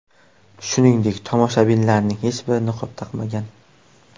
Shuningdek, tomoshabinlarning hech biri niqob taqmagan.